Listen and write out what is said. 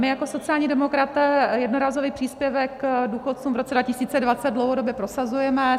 My jako sociální demokraté jednorázový příspěvek důchodcům v roce 2020 dlouhodobě prosazujeme.